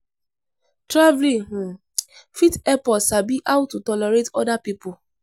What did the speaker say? Traveling um fit help us sabi how to tolerate oda pipo